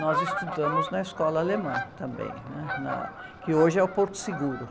Nós estudamos na escola alemã também, né? Na, que hoje é o Porto Seguro.